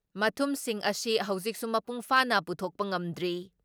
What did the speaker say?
ꯃꯊꯨꯝꯁꯤꯡ ꯑꯁꯤ ꯍꯧꯖꯤꯛꯁꯨ ꯃꯄꯨꯡ ꯐꯥꯅ ꯄꯨꯊꯣꯛꯄ ꯉꯝꯗ꯭ꯔꯤ ꯫